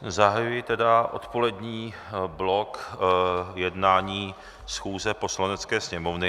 Zahajuji tedy odpolední blok jednání schůze Poslanecké sněmovny.